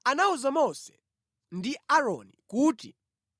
Yehova anawuza Mose ndi Aaroni kuti,